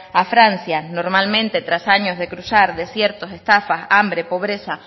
a francia normalmente tras años de cruzar desiertos estafas hambre pobreza